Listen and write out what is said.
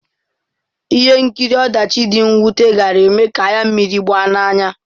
Ihe nkiri ọdachi dị mwute gaara eme ka anya mmiri gbaa n'anya.